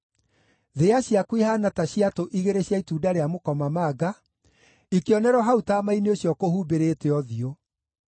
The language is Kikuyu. Thĩa ciaku ihaana ta ciatũ igĩrĩ cia itunda rĩa mũkomamanga, ikĩonerwo hau taama-inĩ ũcio ũkũhumbĩrĩte ũthiũ.